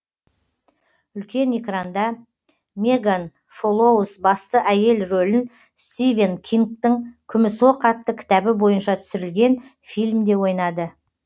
үлкен экранда меган фолоуз басты әйел рөлін стивен кингтың күміс оқ атты кітабы бойынша түсірілген фильмде ойнады